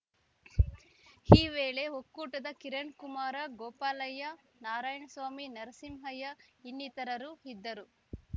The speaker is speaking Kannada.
ಈ ವೇಳೆ ಒಕ್ಕೂಟದ ಕಿರಣ್‌ಕುಮಾರ ಗೋಪಾಲಯ್ಯ ನಾರಾಯಣಸ್ವಾಮಿ ನರಸಿಂಹಯ್ಯ ಇನ್ನಿತರರು ಇದ್ದರು